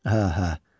Hə, hə.